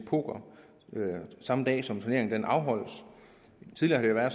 poker samme dag som turneringen afholdes tidligere har